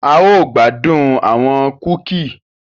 A yoo gbadun awọn kuki.